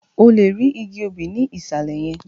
O lè rí igi obì ní ìsàlẹ̀ yẹn